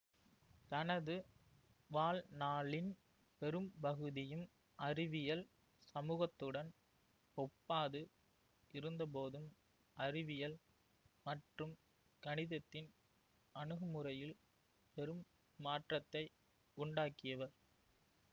தனது வாழ்நாளின் பெரும்பகுதியும் அறிவியல் சமூகத்துடன் ஒப்பாது இருந்தபோதும் அறிவியல் மற்றும் கணிதத்தின் அணுகுமுறையில் பெரும் மாற்றத்தை உண்டாக்கியவர்